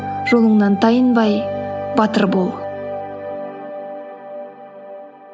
жолыңнан тайынбай батыр бол